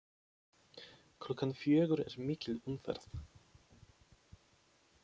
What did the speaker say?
Klukkan fjögur er mikil umferð.